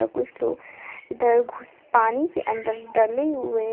कुछ लोग इधर घुस पानी के अंदर डले हुए हैं।